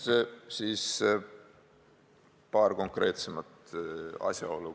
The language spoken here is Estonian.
Ja nüüd paar konkreetsemat asjaolu.